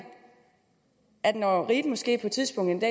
at man når riget måske på et tidspunkt